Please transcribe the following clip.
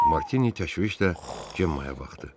Martini təşvişlə Cemma'ya baxdı.